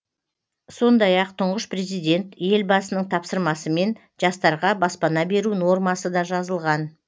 сондай ақ тұңғыш президент елбасының тапсырмасымен жастарға баспана беру нормасы да жазылған